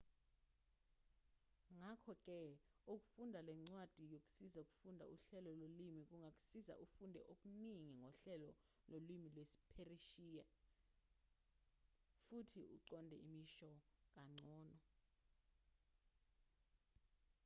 ngakho-ke ukufunda lencwadi yokusiza ukufunda uhlelo lolimi kungakusiza ufunde okuningi ngohlelo lolimi lwesipheresiya futhi uqonde imisho kangcono